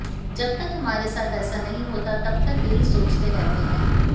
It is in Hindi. जब तक हमारे साथ ऐसा नहीं होता है तब तक यही सोचते रहते हैं